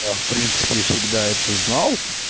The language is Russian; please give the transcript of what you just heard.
я в принципе всегда это знал